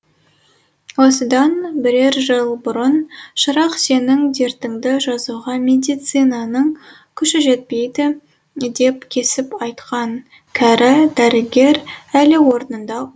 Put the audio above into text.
осыдан бірер жыл бұрын шырақ сенің дертіңді жазуға медицинаның күші жетпейді деп кесіп айтқан кәрі дәрігер әлі орнында отыр